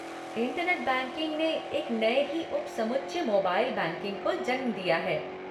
Internet banking ने एक नए ही उपसमुच्चय मोबाइल बैंकिंग को जन्म दिया है।